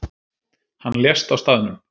Hann lést á staðnum